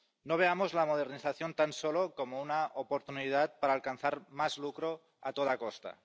No veamos la modernización tan solo como una oportunidad para alcanzar más lucro a toda costa.